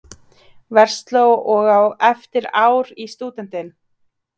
Versló og á eftir ár í stúdentinn.